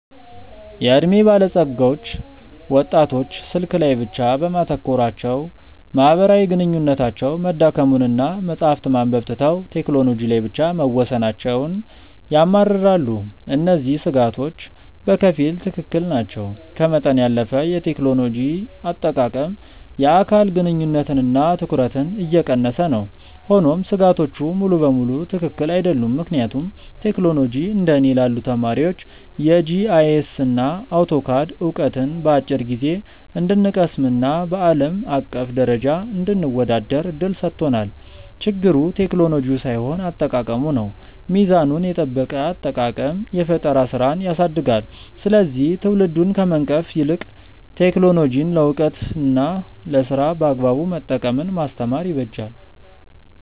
የዕድሜ ባለጸጎች ወጣቶች ስልክ ላይ ብቻ በማተኮራቸው ማህበራዊ ግንኙነታቸው መዳከሙንና መጽሐፍት ማንበብ ትተው ቴክኖሎጂ ላይ ብቻ መወሰናቸውን ያማርራሉ። እነዚህ ስጋቶች በከፊል ትክክል ናቸው፤ ከመጠን ያለፈ የቴክኖሎጂ አጠቃቀም የአካል ግንኙነትንና ትኩረትን እየቀነሰ ነው። ሆኖም ስጋቶቹ ሙሉ በሙሉ ትክክል አይደሉም፤ ምክንያቱም ቴክኖሎጂ እንደ እኔ ላሉ ተማሪዎች የጂአይኤስና አውቶካድ ዕውቀትን በአጭር ጊዜ እንድንቀስምና በአለም አቀፍ ደረጃ እንድንወዳደር እድል ሰጥቶናል። ችግሩ ቴክኖሎጂው ሳይሆን አጠቃቀሙ ነው። ሚዛኑን የጠበቀ አጠቃቀም የፈጠራ ስራን ያሳድጋል፤ ስለዚህ ትውልዱን ከመንቀፍ ይልቅ ቴክኖሎጂን ለዕውቀትና ለስራ በአግባቡ መጠቀምን ማስተማር ይበጃል።